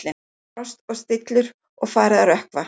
Það var frost og stillur og farið að rökkva.